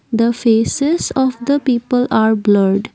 the faces of the people are blurred.